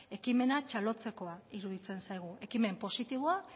ekimena txalotzekoa iruditzen zaigu ekimen positiboa